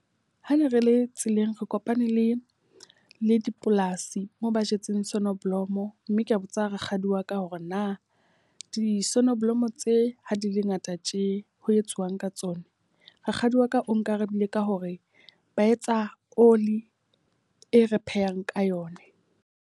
Ha ne re le tseleng re kopane le le dipolasi moo ba jetseng sonoblomo. Mme ka botsa rakgadi wa ka hore na di sonoblomo tse ha di le ngata tje ho etsuwang ka tsona. Rakgadi wa ka o nkarabile ka hore ba etsa oli e re phehang ka yona.